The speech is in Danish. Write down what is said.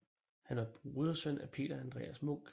Han var brodersøn af Peter Andreas Munch